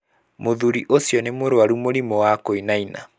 Mũthuri ũcio nĩ mũrwaru mũrimũ wa kũinaina.